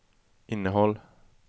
innehåll